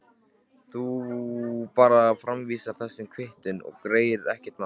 Þú bara framvísar þessari kvittun og við greiðum, ekkert mál.